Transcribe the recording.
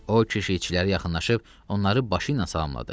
O, keşikçilərə yaxınlaşıb, onları başı ilə salamladı.